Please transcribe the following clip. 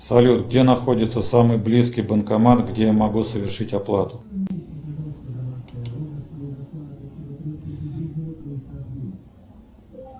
салют где находится самый близкий банкомат где я могу совершить оплату